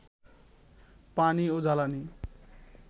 পানি ও জ্বালানি